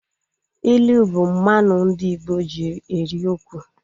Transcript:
Ịlụ bụ mmanụ ndị Igbo ji eri okwu